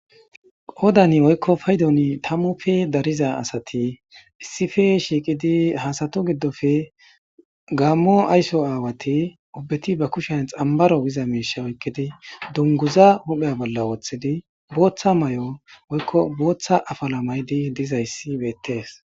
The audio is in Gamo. Qodani woykko faydoni tammufe dariza asati issife shiiqidi ha asatu giddofe gaammo ayso aawati ubbeti ba kushen xambaro giza miisha oykkidi dunguza huphey bolla wooththidi booththa may7o woykko booththa afala maydi dizayssi beettees